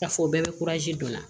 Ka fɔ o bɛɛ bɛ don a la